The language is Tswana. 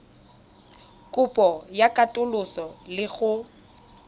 kopo ya katoloso le go